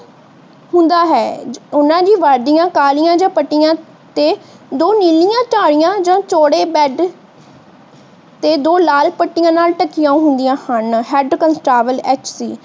ਹੁੰਦਾ ਹੈ। ਇਹਨਾਂ ਦੀ ਵਰਦੀਆਂ ਕਾਲੀਆਂ ਪੱਟੀਆਂ ਤੇ ਦੋ ਨੀਲੀਆਂ ਧਾਰੀਆਂ ਜਾਂ ਚੌੜੇ ਬੈਡ ਤੇ ਦੋ ਲਾਲ ਪੱਟਿਆਂ ਨਾਲ ਢਕੀਆਂ ਹੁੰਦੀਆਂ ਹਨ।